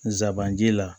Nsaban ji la